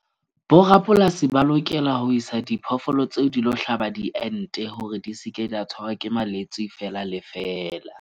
Bo rapolasi ba lokela ho isa diphoofolo tseo di lo hlaba diente, hore di ske di a tshwarwa ke malwetse fela le fela.